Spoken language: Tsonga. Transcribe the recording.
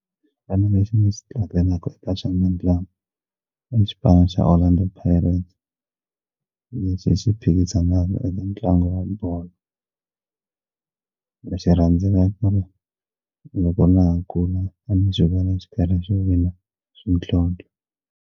Xipano lexi ni xi nga ku heta swamitlangu i xipano xa Orlando Pirates lexi hi xi phikizanaka i mitlangu ya bolo ni xi rhandzela ku ri loko naha kula a ndzi vona xi ri karhi xi wina swi ntlhontlho.